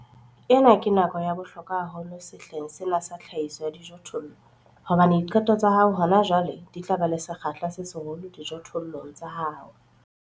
Ena ke nako ya bohlokwa haholo sehleng sena sa tlhahiso ya dijothollo hobane diqeto tsa hao hona jwale di tla ba le sekgahla se seholo dijothollong tsa hao.